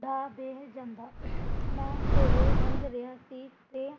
ਡਾਹ ਬੈਠ ਜਾਂਦਾ, ਮੈਂ ਕੋਲੋਂ ਲੰਘ ਰਿਹਾ ਸੀ ਅਤੇ